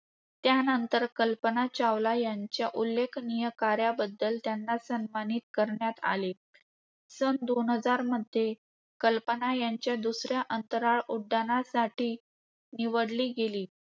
त्यानंतर कल्पना चावला यांच्या उल्लेखनीय कार्याबद्दल त्यांना सन्मानित करण्यात आले. सन दोन हजारमध्ये, कल्पना यांच्या दुसर्‍या अंतराळ उड्डाणांसाठी निवडली गेली.